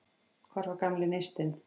Hvar var gamli neistinn?